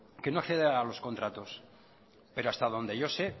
que no accede a los contratos pero hasta donde yo sé